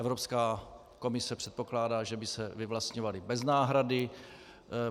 Evropská komise předpokládá, že by se vyvlastňovaly bez náhrady.